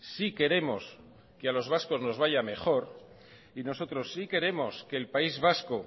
sí queremos que a los vascos nos vaya mejor y nosotros sí queremos que el país vasco